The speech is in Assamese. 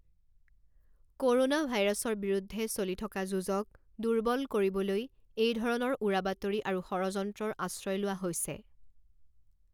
ক'ৰোনা ভাইৰাছৰ বিৰুদ্ধে চলি থকা যুঁজক দূৰ্বল কৰিবলৈ এইধৰণৰ উৰাবাতৰি আৰু ষড়যন্ত্ৰৰ আশ্ৰয় লোৱা হৈছে